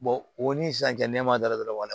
o ni sisan cɛ nɛma da la dɔrɔn